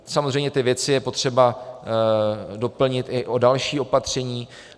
Samozřejmě ty věci je potřeba doplnit i o další opatření.